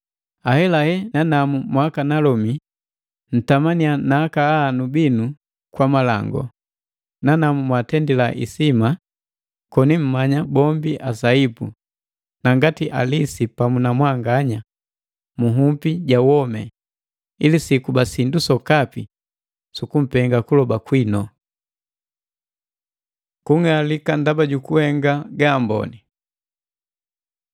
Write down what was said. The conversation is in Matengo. Ahelahe nanamu mwakanalomi, ntamannya na akahanu binu kwa malangu, nanamu mwaatendila isima, koni mmanya bombi asaipu na ngati alisi pamu na mwanganya mu nhupi ja womi, ili sikuba sindu sokapi sukupenga kuloba kwinu. Kung'alika ndaba jukuhenga gaamboni